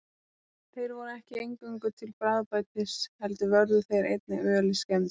Þeir voru ekki eingöngu til bragðbætis heldur vörðu þeir einnig ölið skemmdum.